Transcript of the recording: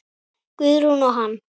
Guðrún og hann.